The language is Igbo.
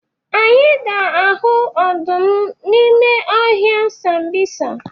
Anyị ga-ahụ ọdụm n'ime ọhịa Sambisa.